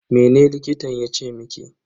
Mene likitan yace miki?